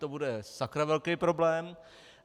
To bude sakra velký problém!